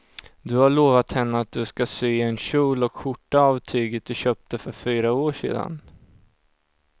Du har lovat henne att du ska sy en kjol och skjorta av tyget du köpte för fyra år sedan.